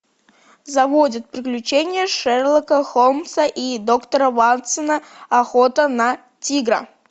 заводит приключения шерлока холмса и доктора ватсона охота на тигра